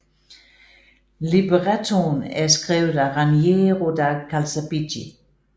Librettoen er skrevet af Raniero da Calzabigi